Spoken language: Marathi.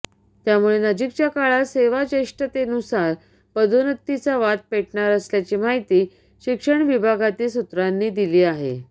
त्यामुळे नजिकच्या काळात सेवाज्येष्ठतेनुसार पदोन्नतीचा वाद पेटणार असल्याची माहिती शिक्षण विभागातील सूत्रांनी दिली आहे